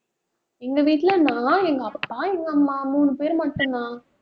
எங்க வீட்டுல நான், எங்க அப்பா, எங்க அம்மா மூணு பேர் மட்டும்தான்.